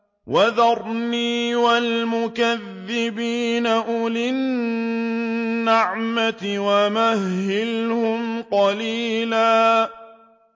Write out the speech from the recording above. وَذَرْنِي وَالْمُكَذِّبِينَ أُولِي النَّعْمَةِ وَمَهِّلْهُمْ قَلِيلًا